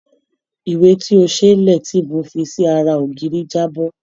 Ìwé tó ṣe é lẹ̀ tí mo fi sí ara ògiri jábọ́.